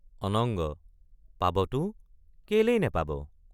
অনঙ্গ—পাবতো কেলেই নেপাব?